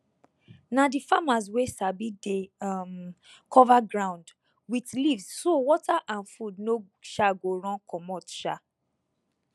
na the farmers wey sabi dey um cover ground with leaves so water and food no um go run commot um